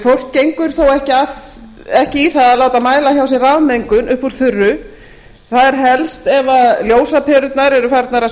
fólk gengur þó ekki í það að láta mæla hjá sér rafmengun upp úr þurru það er helst ef ljósaperurnar eru að farnar að